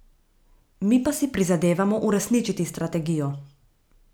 Mi pa si prizadevamo uresničiti strategijo.